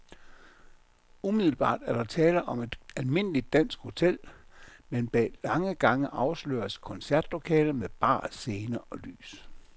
Umiddelbart er der tale om et almindeligt dansk hotel, men bag lange gange afsløres et koncertlokale med bar, scene og lys.